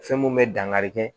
Fɛn mun bɛ dangarikɛ